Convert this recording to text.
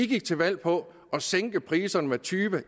gik til valg på at sænke priserne med tyve